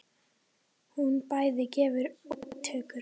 Hún bæði gefur og tekur.